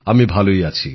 আমি ভালই আছি